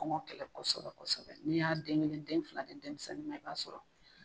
Kɔngɔ kɛlɛ kosɛbɛ kosɛbɛ n'i y'a den kelen den fila di denmisɛnnin ma i b'a sɔrɔ